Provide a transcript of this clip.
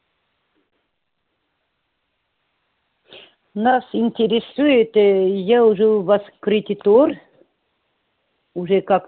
нас интересует ээ я уже у вас кредитор уже как